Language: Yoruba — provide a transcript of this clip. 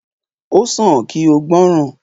O san ki o gbọ́ràn.